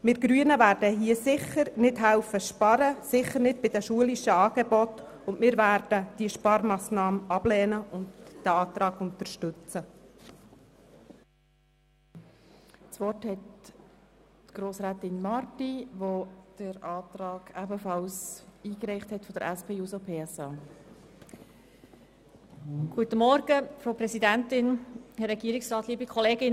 Wir Grünen werden hier sicher nicht mithelfen zu sparen, sicher nicht bei den schulischen Angeboten, wir werden diese Sparmassnahme ablehnen und den Antrag unterstützen.